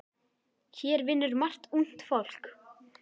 Hér vinnur margt ungt fólk.